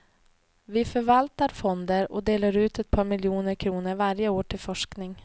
Vi förvaltar fonder och delar ut ett par miljoner kronor varje år till forskning.